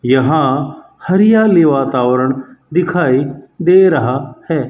यहां हरियाली वातावरण दिखाई दे रहा है।